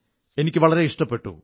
എനിക്ക് വളരെ ഇഷ്ടപ്പെട്ടു